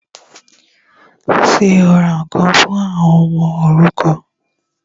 Ṣé o ra ǹkan fún àwọn ọmọ òrukàn?